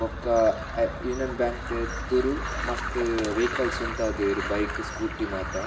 ಬೊಕ್ಕ ಅ Union Bank ದ ಎದುರು ಮಸ್ತ್ ವೈಕಲ್ಸ್ ಉಂತಾದೆರ್ ಬೈಕ್ ಸ್ಕೂಟಿ ಮಾತ.